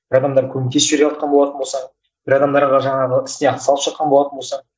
бір адамдар көмектесіп жіберіп жатқан болатын болса бір адамдарға жаңағы ісіне атсалысып жатқан болатын болсаң